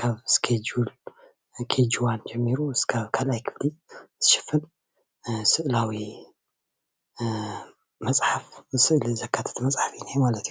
ካብ ስኬጅል ካብ KG-1 ጀሚሩ ክሳብ 2ይ ክፍሊ ዝሽፍን ስእላዊ መፅሓፍ ዘካተተ እዩ፡፡